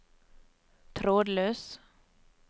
trådløs